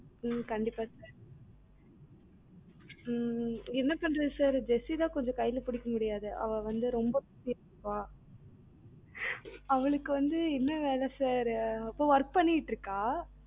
உம் உம் கண்டிப்பா sir உம் என்ன பண்ணுறது sir jessi தான் கொஞ்சம் கை ல பிடிக்க முடியாது அவ வந்து ரொம்ப பண்ணுவா அவளுக்கு வந்து என்ன வேலை sir work பண்ணிட்டு இருக்கா